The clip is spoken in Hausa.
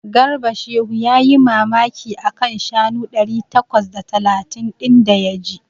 Garba Shehu yayi mamaki a kan shanu ɗari takwas da talatin ɗin da ya ji.